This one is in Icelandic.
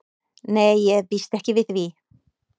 Nei ég býst ekki við því.